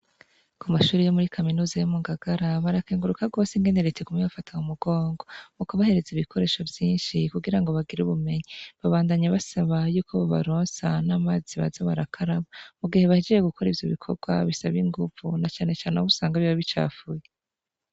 Ku mashuri yo muri kaminuza yo mu gagara barakenguruka rwose ingeneritikume bafatam umugongo mu kubahereza ibikoresho vyinshi kugira ngo bagira ubumenyi babandanye basaba yuko babaronsa n'amazi baza barakaraba mu gihe bahijeye gukora ivyo bikorwa bisaba inguvu na canecane awabusanga biba bicafuye.